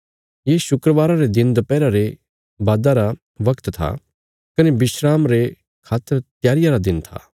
ये शुक्रवारा रे दिन दपैहरा रे बादा रा बगत था कने विस्राम रे खातर त्यारिया रा दिन था